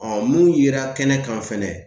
mun yera kɛnɛ kan fɛnɛ